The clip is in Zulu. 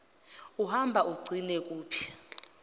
uhamba ugcine kuphi